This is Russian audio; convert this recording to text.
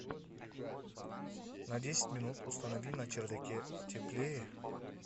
на десять минут установи на чердаке теплее